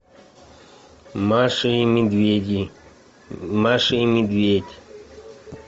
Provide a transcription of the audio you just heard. маша и медведи маша и медведь